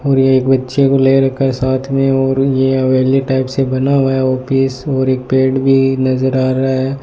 और यह एक बच्चे को ले रखा है साथ में और ये हवेली टाइप से बना हुआ है ऑफिस और एक पेड़ भी नजर आ रहा है।